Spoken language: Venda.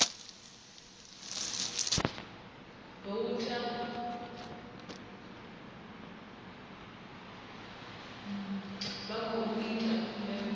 voutha vha khou ita khumbelo